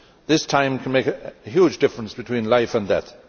This time can make a huge difference between life and death.